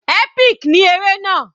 Epic ní eré náà.